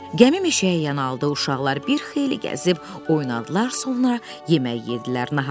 Gəmi meşəyə yanaldı, uşaqlar bir xeyli gəzib oynadılar, sonra yemək yedirlər.